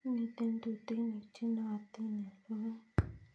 Mito tutuinik che naotin eng' logoek